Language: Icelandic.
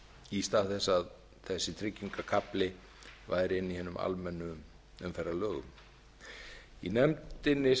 í stað þess að þessi tryggingakafli væri inni í hinum almennu umferðarlögum í nefndinni